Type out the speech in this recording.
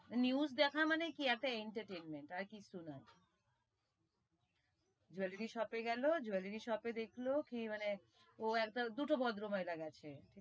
News দেখা মানে কি একটা entertainment আর কিছু না, jewellery shop এ গেলো jewellery shop এ দেখলো কি মানে, ও একটা মানে দুটো ভদ্র মহিলা গেছে,